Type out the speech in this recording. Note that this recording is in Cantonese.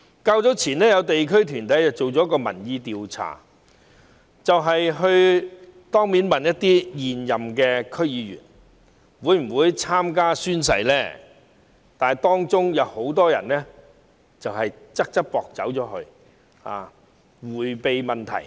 較早前，有地區團體進行民意調查，當面詢問一些現任區議員會否宣誓，當中很多人"側側膊"離開，迴避問題。